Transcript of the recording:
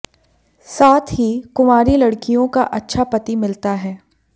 साथ ही कुंवारी लड़कियों का अच्छा पति मिलता है